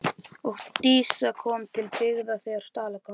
Og Dísa kom til byggða þegar Dalakofinn brann.